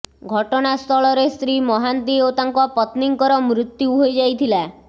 ଘଟଣାସ୍ଥଳରେ ଶ୍ରୀ ମହାନ୍ତି ଓ ତାଙ୍କ ପତ୍ନୀଙ୍କର ମୃତ୍ୟୁ ହୋଇଯାଇଥିଲା